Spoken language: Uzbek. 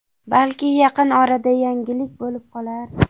Balki, yaqin orada yangilik bo‘lib qolar.